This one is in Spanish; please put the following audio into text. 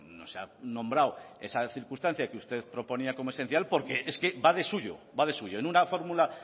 no se ha nombrado esa circunstancia que usted proponía como esencial porque es que va de suyo va de suyo en una fórmula